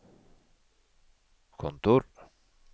kontor